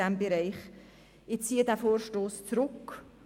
Ich ziehe diesen Vorstoss zurück.